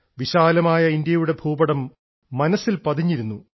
വിശാലമായ ഇന്ത്യയുടെ ഭൂപടം മനസ്സിൽ പതിഞ്ഞിരുന്നു